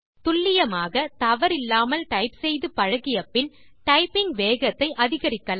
துல்லியமாக தவறில்லாமல் டைப் செய்து பழகிய பின் டைப்பிங் வேகத்தை அதிகரிக்கலாம்